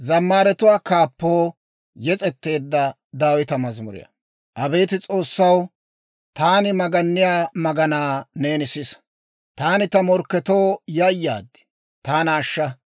Abeet S'oossaw, taani maganniyaa maganaa neeni sisa. Taani ta morkketoo yayaad; taana ashsha.